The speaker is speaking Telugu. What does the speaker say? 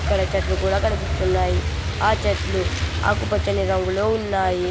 చెట్లు కూడా కనిపిస్తున్నాయి ఆ చెట్లు ఆకుపచ్చని రంగులో ఉన్నాయి.